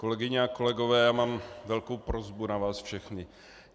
Kolegyně a kolegové já mám velkou prosbu na vás všechny.